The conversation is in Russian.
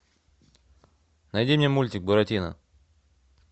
найди мне мультик буратино